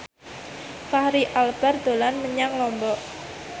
Fachri Albar dolan menyang Lombok